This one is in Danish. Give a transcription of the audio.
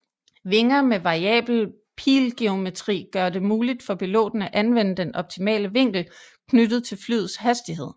Vinger med variabel pilgeometri gør det muligt for piloten at anvende den optimale vinkel knyttet til flyets hastighed